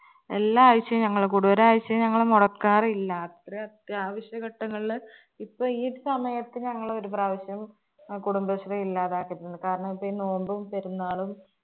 എല്ലാ ആഴ്ചയും ഞങ്ങള് കൂടും ഒരു ആഴ്ചയും ഞങ്ങള് മൊടക്കാറില്ല അത്രയും അത്യാവശ്യ ഘട്ടങ്ങളില് ഇപ്പൊ ഈ ഒരു സമയത്ത് ഞങ്ങള് ഒരു പ്രാവശ്യം കുടുംബശ്രീ ഇല്ലാതാക്കിയിട്ടുണ്ട് കാരണം ഇപ്പൊ ഈ നോമ്പും പെരുന്നാളും